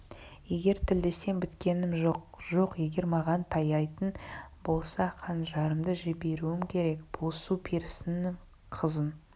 егер тілдессем біткенім жоқ жоқ егер маған таяйтын болса қанжарымды жіберуім керек бұл су перісінің қызын